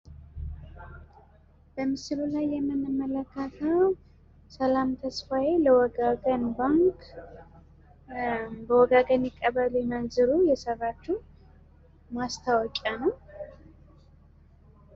በምስሉ ላይ የምንመለከተው ሰላም ተስፋየ ለወጋገን ባንክ ፤ በወጋገን ይቀበሉ ይመንዝሩ የሰራቺዉ ማስታወቂያ ነው።